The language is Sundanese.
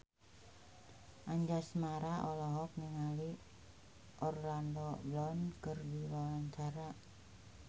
Anjasmara olohok ningali Orlando Bloom keur diwawancara